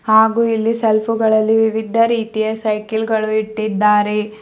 ಹಾಗು ಇಲ್ಲಿ ಸೆಲ್ಫಿಗಳಲ್ಲಿ ವಿವಿಧ ರೀತಿಯ ಸೈಕಲ್ ಗಳು ಇಟ್ಟಿದ್ದಾರೆ.